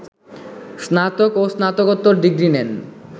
স্নাতক এবং স্নাতকোত্তর ডিগ্রী নেন